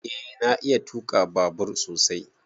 Eh na iya tuka babur sosai.